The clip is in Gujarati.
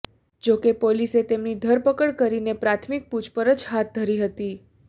જો કે પોલીસે તેમની ધરપકડ કરીને પ્રાથમિક પૂછપરછ હાથ ધરી હતી